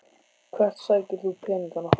Hvert sækir þú peningana?